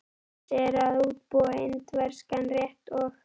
Jónsi er að útbúa indverskan rétt og.